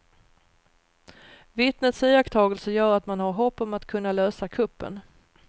Vittnets iakttagelser gör att man har hopp om att kunna lösa kuppen.